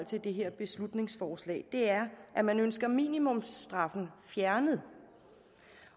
til det her beslutningsforslag er man ønsker minimumsstraffen fjernet